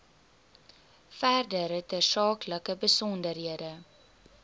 verdere tersaaklike besonderhede